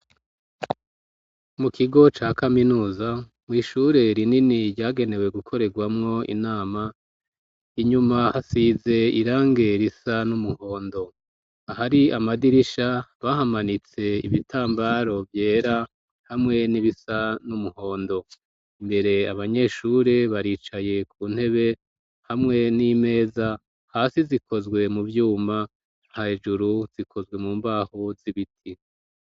Mu kigo ca kaminuza mw'ishure rinini ryagenewe gukorerwamwo inama. Inyuma hasize irangi risa n'umuhondo. Ahari amadirisha bahamanitse ibitambara vyera hamwe n'ibisa n'umuhondo. Imbere abanyeshure baricaye ku ntebe hamwe n'imeza, hasi zikozwe mu vyuma, hejuru zikozwe mu mbaho z'ibiti.